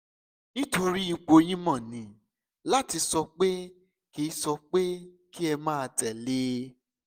nítorí ipò yín mo ní láti sọ pé kí sọ pé kí ẹ máa tẹ̀ lé e